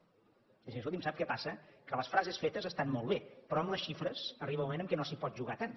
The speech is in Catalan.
és a dir escolti’m sap què passa que les frases fetes estan molt bé però amb les xifres arriba un moment que no s’hi pot jugar tant